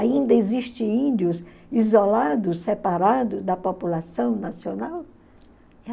Ainda existe índios isolados, separados da população nacional?